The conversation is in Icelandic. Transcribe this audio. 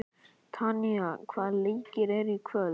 Tanya, hvaða leikir eru í kvöld?